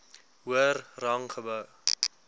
hoër rang gehou